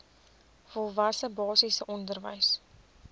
volwasse basiese onderwys